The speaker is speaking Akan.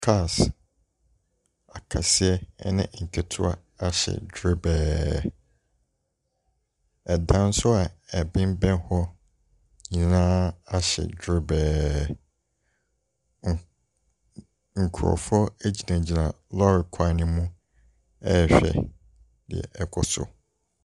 Cars akɛseɛ ɛne nketewa ahye dwerebɛɛ, dan so a ɛbemmɛn hɔ nyinaa ahye dwerebɛɛ. Nkorɔfoɔ ɛgyinagyina lɔɔre kwan no mu ɛrehwɛ deɛ ɔrekɔ so.